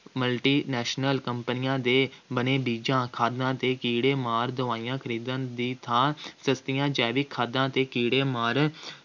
multi national ਕੰਪਨੀਆਂ ਦੇ ਬਣੇ ਬੀਜਾਂ, ਖਾਦਾਂ ਅਤੇ ਕੀੜੇ-ਮਾਰ ਦਵਾਈਆਂ ਖਰੀਦਣ ਦੀ ਥਾਂ ਸਸਤੀਆਂ ਜੈਵਿਕ ਖਾਦਾਂ ਅਤੇ ਕੀੜੇਮਾਰ